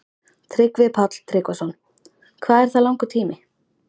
Tryggvi Páll Tryggvason: Hvað er það langur tími?